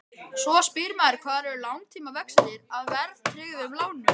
Svo spyr maður hvar eru langtímavextirnir af verðtryggðum lánum?